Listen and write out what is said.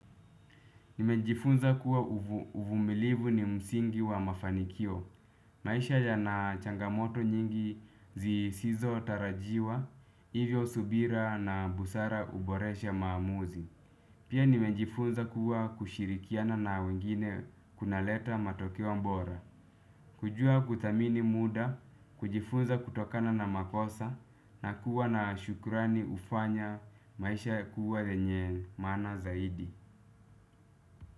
Nimejifunza kuwa uvumilivu ni msingi wa mafanikio. Maisha yanachangamoto nyingi zisizo tarajiwa, hivyo subira na busara uboresha maamuzi. Pia nimejifunza kuwa kushirikiana na wengine kunaleta matokeo mbora. Kujua kuthamini muda, kujifunza kutokana na makosa, na kuwa na shukurani ufanya maisha kuwa lenye maana zaidi.